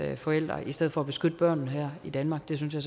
forældre i stedet for at beskytte børnene her i danmark det synes jeg